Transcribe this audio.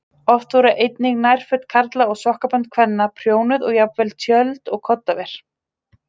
Oft voru einnig nærföt karla og sokkabönd kvenna prjónuð og jafnvel tjöld og koddaver.